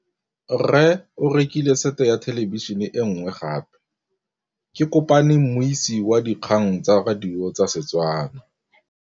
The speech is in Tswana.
Rre o rekile sete ya thêlêbišênê e nngwe gape. Ke kopane mmuisi w dikgang tsa radio tsa Setswana.